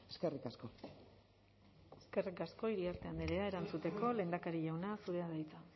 eskerrik asko eskerrik asko iriarte andrea erantzuteko lehendakari jauna zurea da hitza